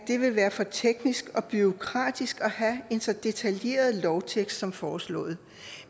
det vil være for teknisk og bureaukratisk at have en så detaljeret lovtekst som foreslået